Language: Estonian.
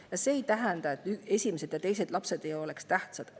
Ja see ei tähenda, et esimesed ja teised lapsed ei oleks tähtsad.